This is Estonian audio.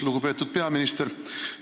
Lugupeetud peaminister!